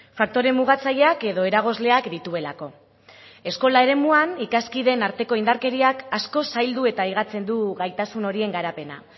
faktore mugatzaileak edo eragozleak dituelako eskola eremuan ikaskideen arteko indarkeriak asko zaildu eta higatzen du gaitasun horien garapena